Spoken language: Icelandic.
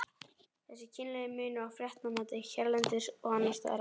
Þessi kynlegi munur á fréttamati hérlendis og annarstaðar á